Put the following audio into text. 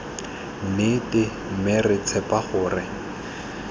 nnete mme re tshepa gore